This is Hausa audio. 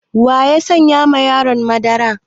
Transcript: Wa ya saya ma yarona madara?